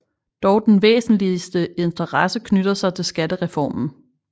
Dog den væsentlige interesse knytter sig til skattereformen